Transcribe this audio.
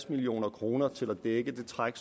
milliard kroner til at dække det træk